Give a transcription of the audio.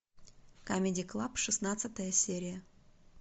камеди клаб шестнадцатая серия